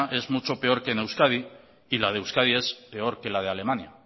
es mucho peor que en euskadi y la de euskadi es peor que la de alemania